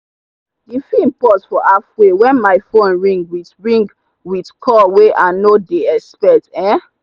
the film pause for halfway when my phone ring with ring with call way i no dey expect. um